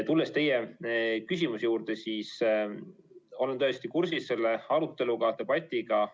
Tulles teie küsimuse juurde, siis olen täiesti kursis selle aruteluga, debatiga.